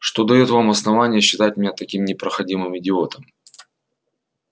что даёт вам основание считать меня таким непроходимым идиотом